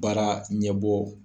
Baara ɲɛbɔ